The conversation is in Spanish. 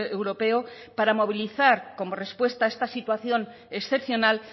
europeo para movilizar como respuesta a esta situación excepcional